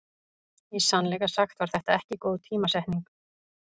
Í sannleika sagt var þetta ekki góð tímasetning.